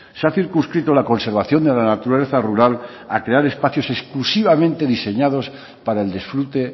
se ha circunscrito la conservación de la naturaleza rural a crear espacios exclusivamente diseñados para el disfrute